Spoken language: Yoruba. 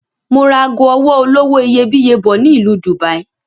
Mo ra ago ọwọ́ olówó iyebíye bọ̀ ni Ìlú Dubai